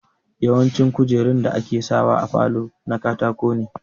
Yawanci kujerun da ake sa wa a falo na katako ne